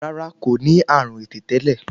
Rárá kò ní àrùn ẹ̀tẹ̀ tẹ́lẹ̀